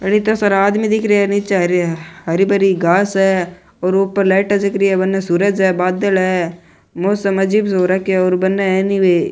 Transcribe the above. इता सारा आदमी दिख रा है नीच हरी भरी घांस है और ऊपर लाइट जग री है बन सूरज है बादल है मौसम अजीब सो हो रखो है और बन है नि बे --